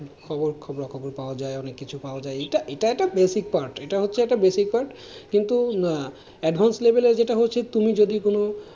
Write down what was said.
খবর খবরা-খবর পাওয়া যায়, অনেক কিছু পাওয়া যায় এটা এটা একটা basic part এটা হচ্ছে একটা basic part কিন্তু advance level এ যেটা হচ্ছে তুমি যদি কোনো,